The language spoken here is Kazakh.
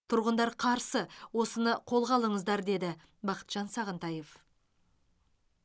тұрғындар қарсы осыны қолға алыңыздар деді бақытжан сағынтаев